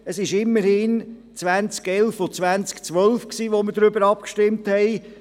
Es war immerhin im Jahr 2011 und 2012, als wir darüber abstimmten.